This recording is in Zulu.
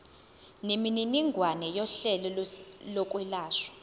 nemininingwane yohlelo lokwelashwa